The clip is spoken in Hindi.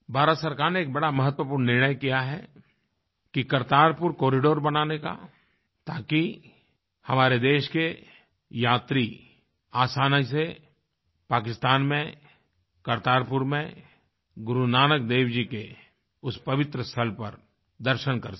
भारत सरकार ने एक बड़ा महत्वपूर्ण निर्णय किया है कि करतारपुर कॉरिडोर बनाने का ताकि हमारे देश के यात्री आसानी से पाकिस्तान में करतारपुर में गुरु नानक देव जी के उस पवित्र स्थल पर दर्शन कर सकें